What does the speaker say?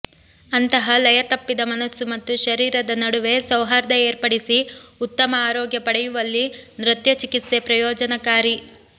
ಅಂತಹ ಲಯ ತಪ್ಪಿದ ಮನಸ್ಸು ಮತ್ತು ಶರೀರದ ನಡುವೆ ಸೌಹಾರ್ದ ಏರ್ಪಡಿಸಿ ಉತ್ತಮ ಆರೋಗ್ಯ ಪಡೆಯುವಲ್ಲಿ ನೃತ್ಯ ಚಿಕಿತ್ಸೆ ಪ್ರಯೋಜನಕಾರಿ